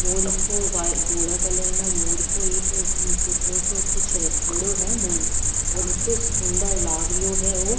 मोर ईतो धोल कलर में मोर को एक पुतला सा कुछ रखेड़ो है और इत्तो सुन्दर लागरियो है ओ।